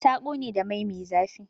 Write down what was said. Ta ƙone da mai me zafi.